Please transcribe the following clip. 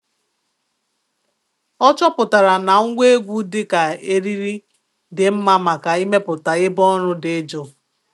Ọ chọpụtara na ngwa egwu dị ka eriri dị mma maka ịmepụta ebe ọrụ dị jụụ.